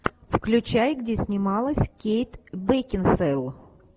включай где снималась кейт бекинсейл